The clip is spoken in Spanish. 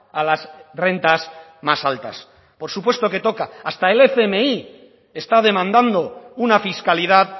a las rentas más altas por supuesto que toca hasta el fmi está demandando una fiscalidad